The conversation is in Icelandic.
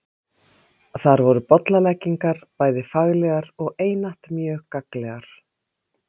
Þar voru bollaleggingar bæði faglegar og einatt mjög gagnlegar.